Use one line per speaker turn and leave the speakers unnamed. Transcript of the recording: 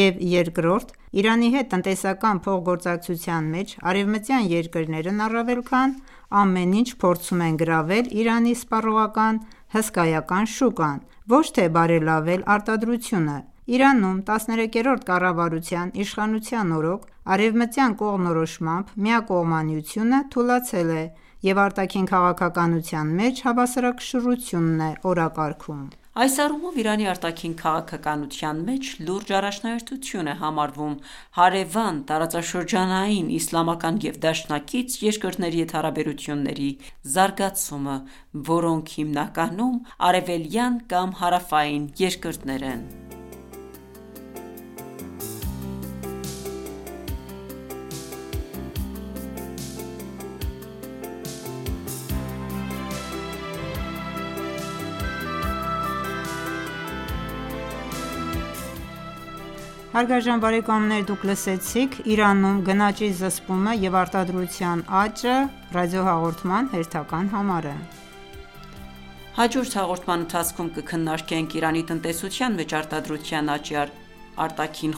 և երկրորդ՝ Իրանի հետ տնտեսական փոխգործակցության մեջ արևմտյան երկրներն առավել քան ամեն ինչ փորձում են գրավել Իրանի սպառողական հսկայական շուկան, ոչ թե բարելավել արտադրությունը։ Իրանում 13-րդ կառավարության իշխանության օրոք, արևմտյան կողմնորոշմամբ միակողմանիությունը թուլացել է և արտաքին քաղաքականության մեջ հավասարակշռությունն է օրակարգում։
Այս առումով Իրանի արտաքին քաղաքականության մեջ լուրջ առաջնահերթություն է համարվում հարևան, տարածաշրջանային, իսլամական և դաշնակից երկրների հետ հարաբերությունների զարգացումը, որոնք հիմնականում արևելյան կամ հարավային երկրներ են։
Բարեկամներ հաջորդ հաղորդման
ընթացքում կքննարկենք Իրանի տնտեսության մեջ արտադրության աճի արտաքին